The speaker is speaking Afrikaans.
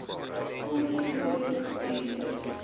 corner boy bendes